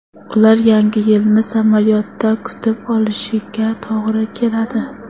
Ular Yangi yilni samolyotda kutib olishiga to‘g‘ri keladi.